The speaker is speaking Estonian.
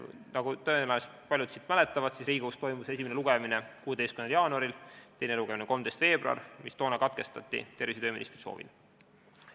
Nagu tõenäoliselt paljud mäletavad, Riigikogus toimus esimene lugemine 16. jaanuaril ja 13. veebruaril toimus teine lugemine, mis toona tervise- ja tööministri soovil katkestati.